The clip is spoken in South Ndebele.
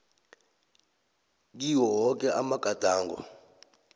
kiwo woke amagadango